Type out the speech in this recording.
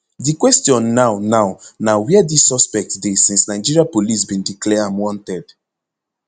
di question now now na wia dis suspect dey since nigeria police bin declare am wanted